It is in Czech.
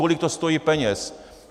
Kolik to stojí peněz.